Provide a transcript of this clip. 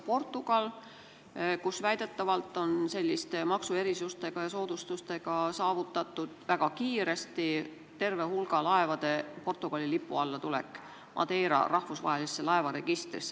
Portugalis on väidetavalt selliste maksuerisustega ja -soodustustega väga kiiresti saavutatud terve hulga laevade Madeira rahvusvahelisse laevaregistrisse, Portugali lipu alla tulek.